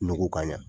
Nɔgɔ ka ɲa